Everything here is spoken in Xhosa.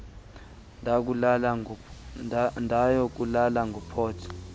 ndaya kulala ngophothe